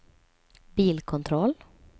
bilkontroll